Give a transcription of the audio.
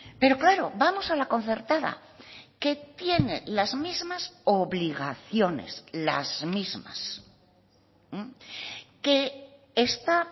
pero claro vamos a la concertada que tiene las mismas obligaciones las mismas que está